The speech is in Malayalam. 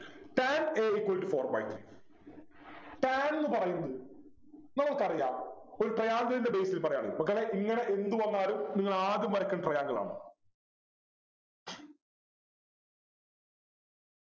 tan a equal to four by three tan ന്നു പറയുന്നത് നമുക്കറിയാം ഒരു Triangle ൻ്റെ basis ൽ പറയാണെങ്കിൽ മക്കളെ ഇങ്ങനെ എന്ത് വന്നാലും നിങ്ങൾ ആദ്യം വരക്കേണ്ടത് Triangle ആണ്